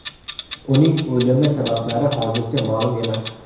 Uning o‘limi sabablari hozircha ma’lum emas.